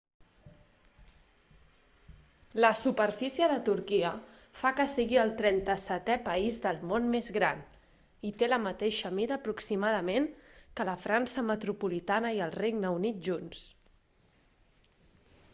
la superfície de turquia fa que sigui el 37è país del món més gran i té la mateixa mida aproximadament que la frança metropolitana i el regne unit junts